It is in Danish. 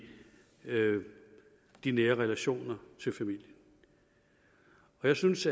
de nære relationer til familien jeg synes